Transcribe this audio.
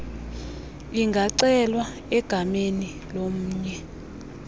ingacelwa egameni lomnye